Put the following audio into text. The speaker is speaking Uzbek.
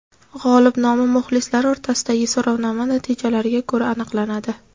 G‘olib nomi muxlislar o‘rtasidagi so‘rovnoma natijalariga ko‘ra aniqlanadi.